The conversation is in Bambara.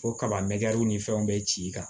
Fo kaba mɛ ni fɛnw bɛ ci i kan